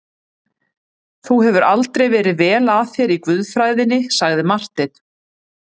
Þú hefur aldrei verið vel að þér í guðfræðinni, sagði Marteinn.